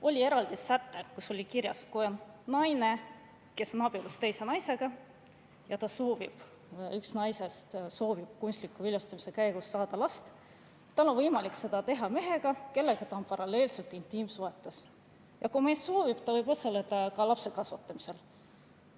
Oli eraldi säte, kus oli kirjas, et kui naine on abielus naisega ja üks naistest soovib kunstliku viljastamise abil saada last, siis on tal võimalik seda teha mehega, kellega ta on paralleelselt intiimsuhetes, ning kui see mees soovib, võib ta osaleda ka lapse kasvatamisel.